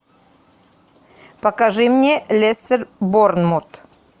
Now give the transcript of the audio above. покажи мне лестер борнмут